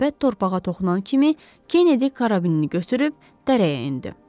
Səbət torpağa toxunan kimi Kenedi karabinini götürüb dərəyə endi.